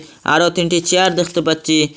আরও তিনটি চেয়ার দেখতে পাচ্ছি।